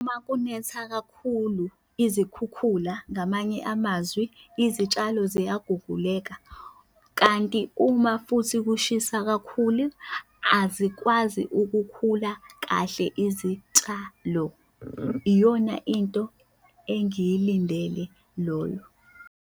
Uma kunetha kakhulu izikhukhula ngamanye amazwi, izitshalo ziyaguguleka, kanti uma futhi kushisa kakhulu, azikwazi ukukhula kahle izitshalo. Iyona into engiyilindele loyo.